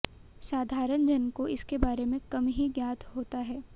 साधारण जन को इसके बारे में कम ही ज्ञात होता है